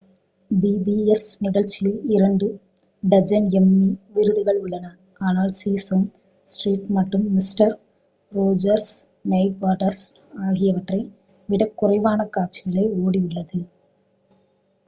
pbs நிகழ்ச்சியில் இரண்டு dozen Emmy விருதுகள் உள்ளன ஆனால் சீசேம் ஸ்ட்ரீட் மற்றும் மிஸ்டர் ரோஜர்ஸ் நெய்பர்ஹூட் ஆகியவற்றை விடக் குறைவான காட்சிகளே ஓடியுள்ளது